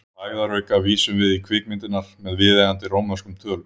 Til hægðarauka vísum við í kvikmyndirnar með viðeigandi rómverskum tölum.